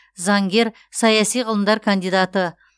заңгер саяси ғылымдар кандидаты